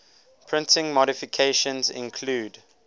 printing modifications include